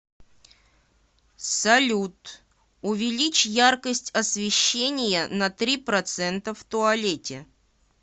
салют увеличь яркость освещения на три процента в туалете